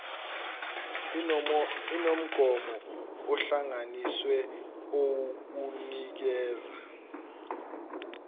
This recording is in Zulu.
inomgomo ohlanganisiwe owukunikeza